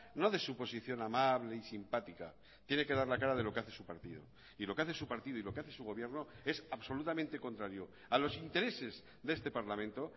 no de su posición amable y simpática tiene que dar la cara de lo que hace su partido y lo que hace su partido y lo que hace su gobierno es absolutamente contrario a los intereses de este parlamento